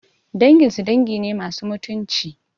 Danginsu dangi ne masu mutunci